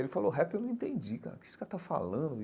Ele falou, rap eu não entendi, cara, o que esse cara está falando?